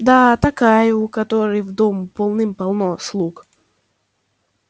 да такая у которой в дому полным-полно слуг